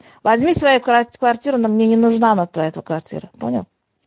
возьми свою квар квартиру она мне не нужна на твоя квартира понял